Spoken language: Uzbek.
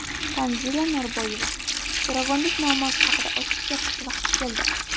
Tanzila Norboyeva: Zo‘ravonlik muammosi haqida ochiq gapirish vaqti keldi.